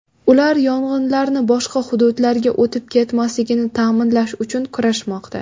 Ular yong‘inlarni boshqa hududlarga o‘tib ketmasligini ta’minlash uchun kurashmoqda.